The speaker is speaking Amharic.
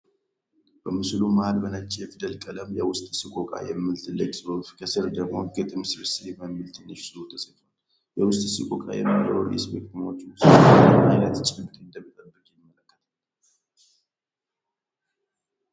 በምስሉ መሃል በነጭ የፊደል ቀለም "የውስጥ ሰቆቃ" የሚል ትልቅ ጽሑፍ፣ ከስር ደግሞ "ግጥም ስብስብ" የሚል ትንሽ ጽሑፍ ተጽፏል። "የውስጥ ሰቆቃ" የሚለው ርዕስ በግጥሞቹ ውስጥ ምን ዓይነት ጭብጥ እንደሚጠበቅ ያመለክታል?